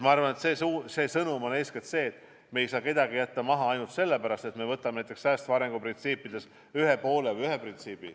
Ma arvan, et sõnum on eeskätt see, et me ei saa kedagi jätta maha ainult sellepärast, et me võtame säästva arengu printsiipidest aluseks vaid ühe printsiibi.